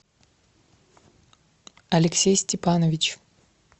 алексей степанович